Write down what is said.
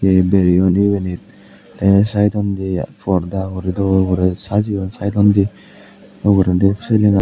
he bereyon ebonit te saidondi porda uri do sajeyon saidondi ugurendi siyeni.